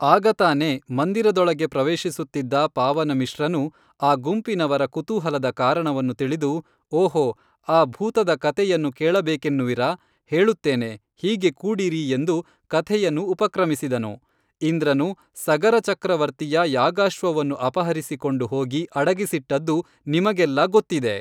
ಆಗತಾನೇ ಮಂದಿರ ದೊಳಗೇ ಪ್ರವೇಶಿಸುತ್ತಿದ್ದ ಪಾವನ ಮಿಶ್ರನು ಆ ಗುಂಪಿನವರ ಕುತೂಹಲದ ಕಾರಣವನ್ನು ತಿಳಿದು ಓಹೋ ಆ ಭೂತದ ಕಥೆಯನ್ನು ಕೇಳಬೇಕೆನ್ನುವಿರಾ ಹೇಳುತ್ತೇನೆ, ಹೀಗೇ ಕೂಡಿರಿ ಎಂದು ಕಥೆಯನ್ನು ಉಪಕ್ರಮಿಸಿದನು, ಇಂದ್ರನು ಸಗರಚಕ್ರವರ್ತಿಯ ಯಾಗಾಶ್ವವನ್ನು ಅಪಹರಿಸಿಕೊಂಡು ಹೋಗಿ ಅಡಗಿಸಿಟ್ಟದ್ದು ನಿಮಗೆಲ್ಲಾ ಗೊತ್ತಿದೆ